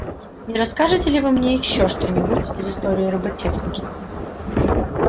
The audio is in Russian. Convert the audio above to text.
не расскажете ли вы мне ещё что нибудь из истории роботехники